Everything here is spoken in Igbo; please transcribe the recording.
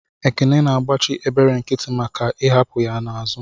Ekene na agbachi ebere nkiti maka I'hapu ya n'azu.